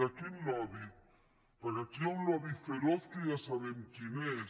de quin lobby perquè aquí hi ha un lobby feroz que ja sabem quin és